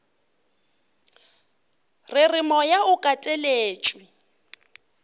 re re moya o kateletšwe